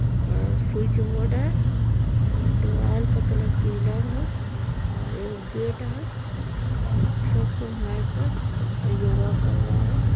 और switch board है और दिवाल का कलर पीला है और एगो गेट है और सब कोइ मेट पर योगा कर रहा है।